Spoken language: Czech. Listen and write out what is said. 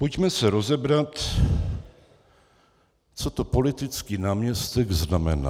Pojďme si rozebrat, co to politický náměstek znamená.